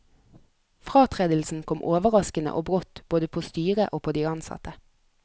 Fratredelsen kom overraskende og brått både på styret og på de ansatte.